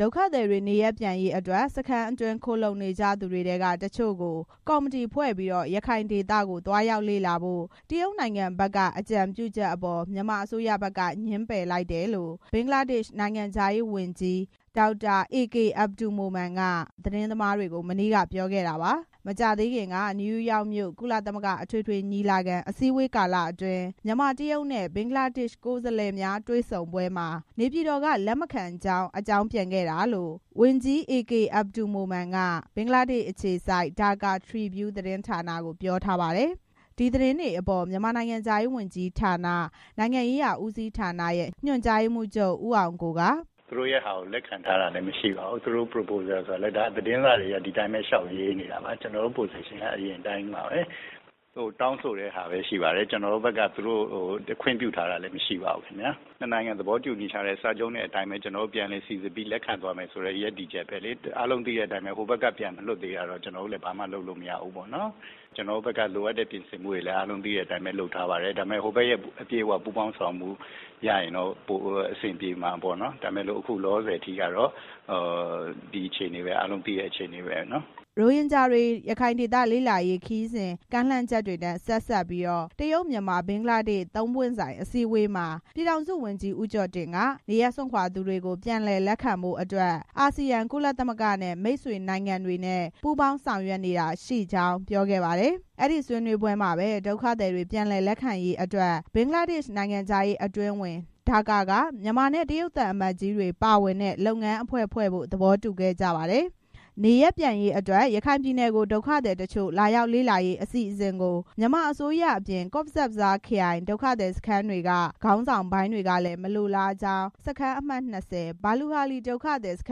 ဒုက္ခသည်တွေနေရပ်ပြန်ရေးအတွက် စခန်းအတွင်း ခိုလှုံနေကြသူတွေထဲက တချို့ကို ကော် မတီဖွဲ့ပြီး ရခိုင်ဒေသကို သွားရောက်လေ့လာဖို့ တရုတ်နိုင်ငံဘက်က အကြံပြုချက်အပေါ် မြန်မာအစိုးရဘက်က ငြင်းပယ်လိုက်တယ်လို့ ဘင်္ဂလားဒေ့ရှ်နိုင်ငံခြားရေးဝန်ကြီး Dr AK Abdul Momen က သတင်းသမားတွေကို မနေ့က ပြောခဲ့တာပါ။ မကြာသေးခင်က နယူးယောက်မြို့ ကုလသမဂ္ဂအထွေထွေညီလာခံ အစည်းအဝေးကာလအတွင်း မြန်မာ၊ တရုတ်နဲ့ ဘင်္ဂလားဒေ့ရှ် ကိုယ်စားလှယ်များ တွေ့ဆုံပွဲမှာ နေပြည်တော်က လက်မခံကြောင်း အကြောင်းပြန်ခဲ့တာလို့ ဝန်ကြီး အေကေအဘ်ဒူလ် မိုမန် က ဘင်္ဂလားဒေ့ရှ်အခြေစိုက် Daka Tribune သတင်းဌာနကို ပြောထားပါတယ်။ ဒီသတင်းတွေအပေါ် မြန်မာနိုင်ငံခြားရေးဝန်ကြီးဌာန၊ နိုင်ငံရေးရာဦးစီးဌာနရဲ့ ညွန်ကြားရေးမှူးချုပ် ဦးအောင်ကိုက ကျနော်တို့ဘက်က ခွင့်ပြုထားတာလည်း မရှိပါဘူး “သူ့တို့ဟာကို လက်ခံထားတာမရှိပါဘူး။ သူတို့ရဲ့ Proposal ဆိုတာကလည်း သတင်းစာတွေက သူတို့ဘာသာ လျှောက်ရေးနေတာပါ။ ကျနော်တို့ Position က အရင်အတိုင်း ပါပဲ။ သူတို့တောင်းဆိုတာပဲရှိပါတယ်။ ကျနော်တို့ ဘက်က ခွင့်ပြုထားတာလည်း မရှိပါဘူးခင်ဗျာ။ နှစ်နိုင်ငံသဘောတူညီချက်အတိုင်း စိစစ်ပြီး လက်ခံသွားမယ် ဆိုတဲ့ ရပ်တည်ချက်အတိုင်းပဲ။ အားလုံးသိတဲ့အတိုင်းပဲ ဟိုဘက်က ပြန်မလွှတ်သေးတာတော့ ကျနော်တို့လည်း ဘာမှလုပ်လို့ မရသေးဘူးပေါ့နော်။ ကျနော်တို့ဘက်က လိုအပ်တဲ့ ပြင်ဆင်မှုတွေလည်း အားလုံးလုပ်ထားပါတယ်။ ဟိုဘက်ရဲ့ ပူးပေါင်းဆောင်ရွက်မှု အပြည့်အဝရရင်တော့ ပိုပြီးတော့ အဆင်ပြေမှာပေါ့နော်။ ဒါပေမဲ့ လောလော ဆယ်အထိကတော့ အားလုံးသိတဲ့ ဒီအခြေအနေပါပဲ။” ရိုဟင်ဂျာတွေ ရခိုင်ဒေသလေ့လာရေးခရီးစဉ် ကမ်းလှမ်းချက်တွေနဲ့ ဆက်စပ်ပြီး တရုတ်-မြန်မာ-ဘင်္ဂလားဒေ့ရှ် သုံးပွင့် ဆိုင် အစည်းအဝေးမှာ ပြည်ထောင်စုဝန်ကြီး ဦးကျော်တင်က နေရပ်စွန့်ခွာသူတွေကို ပြန်လည်လက်ခံဖို့အတွက် အာဆီယံ၊ ကုလသမဂ္ဂနဲ့ မိတ်ဆွေနိုင်ငံတွေနဲ့ ပူးပေါင်းဆောင်ရွက်နေတာရှိကြောင်း ပြောခဲ့ပါတယ်။ အဲဒီဆွေးနွေးပွဲမှာပဲ ဒုက္ခသည်ပြန်လည်လက်ခံရေးအတွက် ဘင်္ဂလားဒေ့ရှ်နိုင်ငံခြားရေးအတွင်းဝန်၊ ဒါကာက မြန်မာနဲ့ တရုတ်သံအမတ်ကြီးတွေ ပါဝင်တဲ့ လုပ်ငန်းအဖွဲ့ဖွဲ့ဖို့ သဘောတူခဲ့ပါတယ်။ နေရပ်ပြန်ရေးအတွက် ရခိုင်ပြည်နယ်ကို ဒုက္ခသည်တချို့လာရောက်လေ့လာရေး အစီအစဉ်ကို မြန်မာအစိုးရအပြင် ကော့ဇ်ဘဇားခရိုင်၊ ဒုက္ခသည်စခန်းတွေက ခေါင်းဆောင်ပိုင်းကလည်း မလိုလားကြောင်း စခန်းအမှတ်(၂၀) ဘာလူဟာလီ ဒုက္ခသည်စခ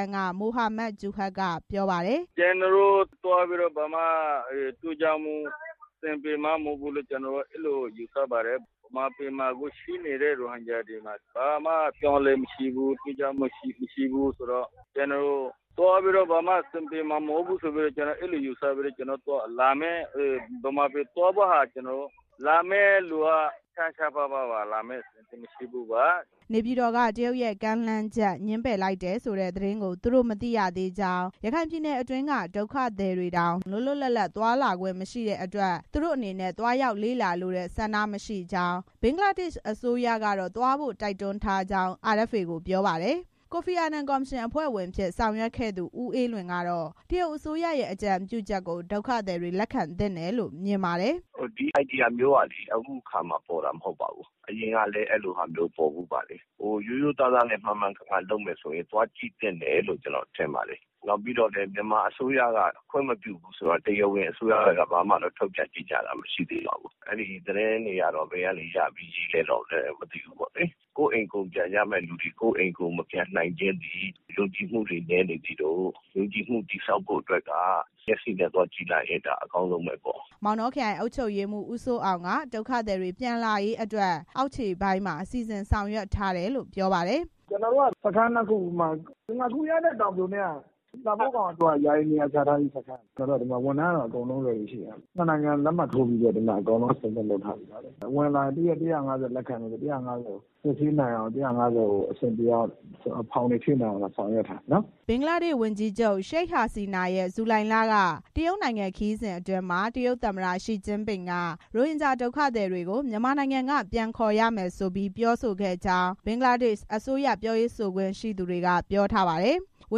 န်းက မိုဟာမတ် ဂျူဟာရ်က ပြောပါတယ်။ “မြန်မာပြည်မှာ အခုရှိနေတဲ့ ရိုဟင်ဂျာတွေ ဘာမှပြောင်းလဲမှုမရှိဘူး။ ထူးခြားမှု မရှိဘူးဆိုတော့ သွားပြီးတော့ ဘာမှအဆင်ပြေမှာ မဟုတ်ဘူးလို့ ယူဆပြီးတော့ ဗမာပြည်သွားဖို့ လာမယ့်သူက ရှားရှားပါးပါးပါ။ လာမယ့်သူ သိပ်မရှိဘူး။” နေပြည်တော်က တရုတ်ရဲ့ ကမ်းလှမ်းချက် ငြင်းပယ်လိုက်တယ်ဆိုတဲ့ သတင်းကို သူတို့ မသိရသေးကြောင်း၊ ရခိုင်ပြည်နယ်အတွင်းက ဒုက္ခသည်တွေတောင် လွတ်လွတ်လပ်လပ် သွားလာခွင့်မရှိတဲ့အတွက် သူတို့ဘက် ကလည်း သွားရောက် လေ့လာလိုတဲ့ဆန္ဒမရှိကြောင်း၊ ဘင်္ဂလားဒေ့ရှ်အစိုးရကတော့ သွားဖို့ တိုက်တွန်းထားကြောင်း RFA ကိုပြောပါတယ်။ ကိုဖီအာနန်ကော်မရှင်အဖွဲ့ဝင်အဖြစ် ဆောင်ရွက်ခဲ့သူ ဦးအေးလွင်ကတော့ တရုတ်အစိုးရရဲ့ အကြံပြုချက်ကို ဒုက္ခသည်တွေ လက်ခံသင့်တယ်လို့ မြင်ပါတယ်။ “ဒီအကြံပြုချက်မျိုးကလည်း အခုအခါမှ ပေါ်တာမဟုတ်ပါဘူး။ အရင်ကလည်းပေါ်ဘူးပါတယ်။ ရိုးရိုးသားသားနဲ့ မှန်မှန်ကန်ကန်လုပ်မယ်ဆိုရင် သွားကြည့်သင့်တယ်လို့ ကျနော်ထင်ပါတယ်။ နောက်ပြီးတော့ မြန်မာအစိုးရက ခွင့်မပြုဘူးဆိုတာ တရားဝင်အစိုးရက ထုတ်ပြန်ကြေညာတာ ဘာတစ်ခုမှ မရှိသေးပါဘူး။ အဲသတင်းတွေကတော့ ဘယ်ကနေရပြီးရေးလည်းတော့ မသိဘူးပေါ့လေ။ ကိုယ့်အိမ်ကို ပြန်မယ့်သူတွေ မပြန်နိုင်သေးခြင်းသည် ယုံကြည်မှုတွေ နည်းနေသေးလို့ ယုံကြည်မှုတည်ဆောက်ဖို့က မျက်စိနဲ့သွားကြည့်နိုင်ရင် ဒါအကောင်းဆုံးပဲပေါ့။ ” မောင်တောခရိုင်အုပ်ချုပ်ရေးမှူး ဦးစိုးအောင်က ဒုက္ခသည်တွေ ပြန်လာရေးအတွက် အောက်ခြေပိုင်းမှာ စီစဉ်ဆောင်ရွက်ထားတယ်လို့ ပြောပါတယ်။ “ကျနော်တို့က စခန်းနှစ်ခုဖြစ်တဲ့ ငါးခူရနဲ့ တောင်ပြို၊ လှဖိုးခေါင် ပြန်လည်လက်ခံရေးစခန်းတွေမှာ ဝန်ထမ်းက အဆင့်သင့်ရှိတယ်။ နှစ်နိုင်ငံလက်မှတ်ထိုးပြီး ကတည်းက အကုန်လုံးအဆင့်သင့်လုပ်ထားတယ်။ ဝင်လာရင် တရက် ၁၅၀ လက်ခံမယ်ဆိုရင် ၁၅၀ ကို စစ်ဆေးနိုင်အောင်၊ ဖောင်တွေ ဖြည့်နိုင်အောင် ဆောင်ရွက်ထား ပါတယ်။” ဘင်္ဂလားဒေ့ရှ်ဝန်ကြီးချုပ် ရှိတ်ဟာဆီနာဟာရဲ့ ဇူလိုင်လက တရုတ်နိုင်ငံ ခရီးစဉ်အတွင်း တရုတ်သမ္မတ ရှီကျင်းပင်က ရိုဟင်ဂျာဒုက္ခသည်တွေကို မြန်မာနိုင်ငံက ပြန်ခေါ်ရမယ်ဆိုပြီး ပြောဆိုခဲ့ကြောင်း ဘင်္ဂလားဒေရှ့်အစိုးရပြောရေးဆိုခွင့်ရှိသူတွေက ပြောထားပါတယ်။ ဝ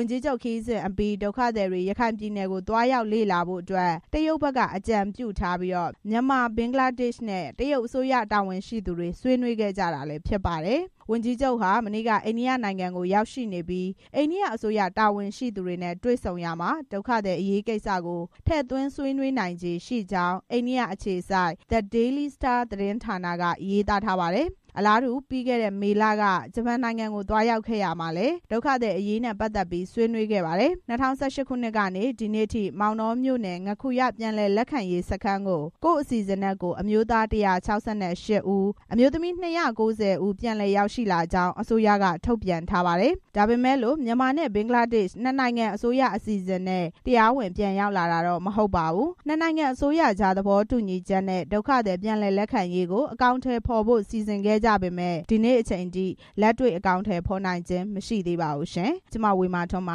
န်ကြီးချုပ်ခရီးစဉ်အပြီး ဒုက္ခသည်တွေ ရခိုင်ပြည်နယ်ကို သွားရောက်လေ့လာဖို့ တရုတ်ဘက်က အကြံပြုထားပြီး မြန်မာ၊ ဘင်္ဂလားဒေရှ့်နဲ့ တရုတ်အစိုးရတာဝန်ရှိသူတွေ ဆွေးနွေးခဲ့ကြတာဖြစ်ပါတယ်။ ဝန်ကြီးချုပ်ဟာ မနေ့က အိန္ဒိယနိုင်ငံကို ရောက်ရှိနေပြီး အိန္ဒိယအစိုးရတာဝန်ရှိသူတွေနဲ့ တွေ့ဆုံရာမှာ ဒုက္ခသည်တွေအရေးကိစ္စကို ထည့်သွင်းဆွေးနွေးနိုင်ခြေရှိနေကြောင်း အိန္ဒိယအခြေစိုက် The Daily Star သတင်းဌာနက ရေးသားပါတယ်။ အလားတူ ပြီးခဲ့တဲ့ မေလက ဂျပန်နိုင်ငံကို သွားရောက်ခဲ့ရာမှာလည်း ဒုက္ခသည်အရေးနဲ့ ပတ်သက်ပြီး ဆွေးနွေးခဲ့တယ်လို့ သိရပါတယ်။ ၂၀၁၈ ခုနှစ်ကနေ ဒီနေ့အထိ မောင်တောမြို့နယ် ငါးခူရ ပြန်လည်လက်ခံရေး စခန်းကို ကိုယ့်အစီအစဉ်နဲ့ ကိုယ် အမျိုးသား ၁၆၈ ဦး၊ အမျိုးသမီး ၂၉၀ ဦးရှိကြောင်း အစိုးရက ထုတ်ပြန်ပြောဆိုထားပါတယ်။ ဒါပေမဲ့ မြန်မာနဲ့ ဘင်္ဂလားဒေရှ့် နှစ်နိုင်ငံအစိုးရအစီအစဉ်နဲ့ တရားဝင် ပြန်လည်ဝင်ရောက်လာတော့ မဟုတ်ပါဘူး။ နှစ်နိုင်ငံအစိုးရကြား သဘောတူညီချက်နဲ့ ဒုက္ခသည် ပြန်လည်လက်ခံရေးကို အကောင်အထည်ဖော်ဖို့ စီစဉ်ခဲ့ပေမယ့် ဒီနေ့အချိန်ထိ လက်တွေ့အကောင်အထည်ဖော်နိုင်ခြင်း မရှိသေးပါဘူး။ (RFA သတင်းထောက် မဝေမာထွန်း ပ